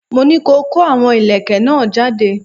Mo ní ko kó àwọn ìlẹ̀kẹ̀ náà jáde!